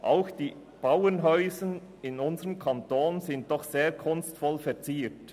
Auch die Bauernhäuser in unserem Kanton sind doch sehr kunstvoll verziert.